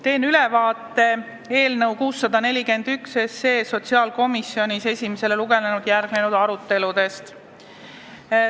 Teen ülevaate eelnõu 641 aruteludest sotsiaalkomisjonis pärast esimest lugemist.